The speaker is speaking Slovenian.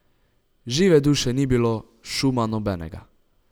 Žive duše ni bilo, šuma nobenega.